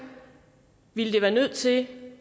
ville de være nødt til